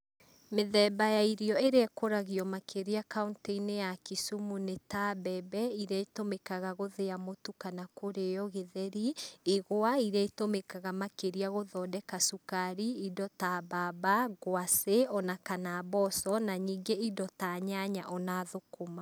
Mĩthemba ya irio ĩrĩa ĩkũragio makĩria kaũntĩ-inĩ ya Kisumu nĩta mbembe iria itũmĩkaga gũthĩa mũtu kana kũrĩo gĩtheri, igwa iria itũmĩkaga makĩria gũthondeka cukari, indo ta mbamba, ngwaci ona kana mboco, na ningĩ indo ta nyanya ona thũkũma.